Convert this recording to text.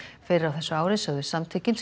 fyrr á þessu ári sögðust samtökin sem